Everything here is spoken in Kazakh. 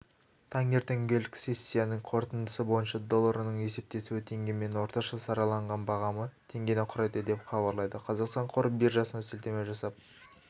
таңертеңгілік сессиясының қорытындысы бойынша долларының есептесуі теңгемен орташа сараланған бағамы теңгені құрайды деп хабарлайды қазақстан қор биржасына сілтеме жасап